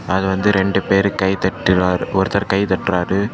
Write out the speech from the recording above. அதுல வந்து ரெண்டு பேரு கைதட்டுறா ஒருத்தர் கைதட்டுறாரு.